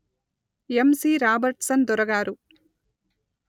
యమ్ C Robertson దొర గారు